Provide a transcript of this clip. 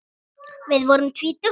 Við vorum tvítug.